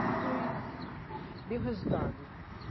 E foi deu resultado né.